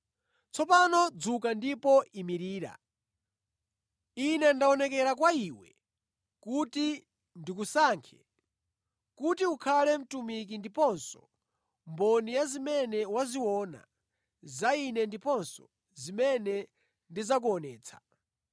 Tsopano dzuka ndipo imirira. Ine ndaonekera kwa iwe kuti ndikusankhe kuti ukhale mtumiki ndiponso mboni ya zimene waziona za Ine ndiponso zimene ndidzakuonetsa.